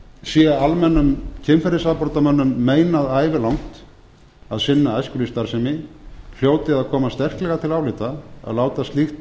sé almennum kynferðisafbrotamönnum meinað ævilangt að sinna æskulýðsstarfsemi hljóti að koma sterklega til álita að láta slíkt